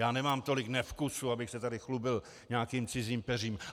Já nemám tolik nevkusu, abych se tady chlubil nějakým cizím peřím.